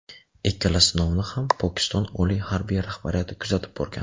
Ikkala sinovni ham Pokiston oliy harbiy rahbariyati kuzatib borgan.